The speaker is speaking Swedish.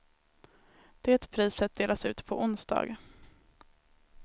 Det priset delas ut på onsdag.